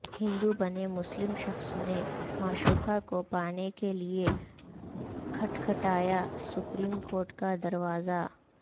ہندو بنے مسلم شخص نے معشوقہ کو پانے کے لئے کھٹکھٹایا سپریم کورٹ کا دروازہ